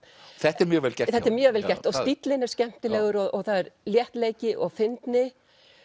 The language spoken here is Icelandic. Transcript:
þetta er mjög vel gert þetta er mjög vel gert og stíllinn er skemmtilegur það er léttleiki og fyndni